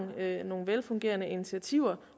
nogle velfungerende initiativer